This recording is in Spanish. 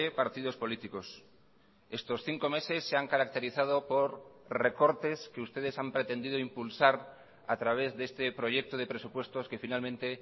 partidos políticos estos cinco meses se han caracterizado por recortes que ustedes han pretendido impulsar a través de este proyecto de presupuestos que finalmente